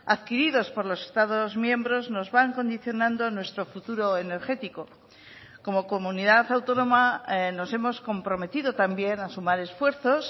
adquiridos por los estados miembros nos van condicionando nuestro futuro energético como comunidad autónoma nos hemos comprometido también a sumar esfuerzos